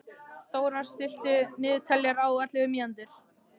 Þórar, stilltu niðurteljara á ellefu mínútur.